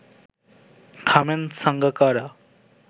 থামেন সাঙ্গাকারা